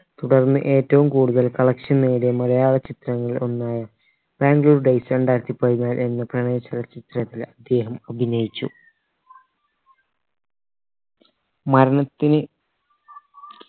തുടർന്ന് ഏറ്റവും കൂടുതൽ collection നേടിയ മലയാള ചിത്രങ്ങളിൽ ഒന്നായ ബാംഗ്ലൂർ days രണ്ടായിരത്തി പതിനാല് എന്ന പ്രയാണ ചലച്ചിത്രത്തിൽ അദ്ദേഹം അഭിനയിച്ചു മരണത്തിന്